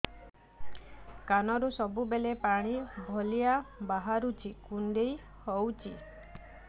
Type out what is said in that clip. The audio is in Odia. କାନରୁ ସବୁବେଳେ ପାଣି ଭଳିଆ ବାହାରୁଚି କୁଣ୍ଡେଇ ହଉଚି